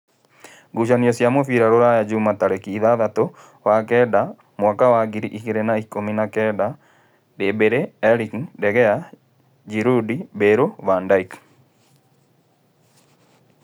Ngucanio cia mũbira Rūraya Jumaa tarĩki ithathatũ wa kenda mwaka wa ngiri igĩrĩ na-ikũmi na-kenda: Ndĩmbare, Erĩki, Ndegea, Ngirundi, Mbale, Vandeki